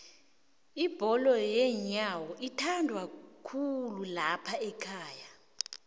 ibholo yenyowo ithandwakhulu laphaekhaga